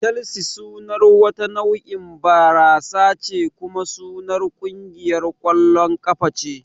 Chelsea sunar wata nau'in barasa ce kuma sunar kungiyar ƙwallon kafa ce